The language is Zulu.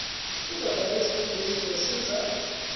kuzovela izifundo ezizosiza